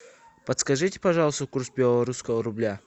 подскажите пожалуйста курс белорусского рубля